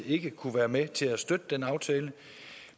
ikke kunne være med til at støtte